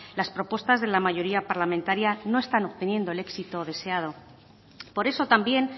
las propuestas de la mayoría parlamentaria no están obteniendo el éxito deseado por eso también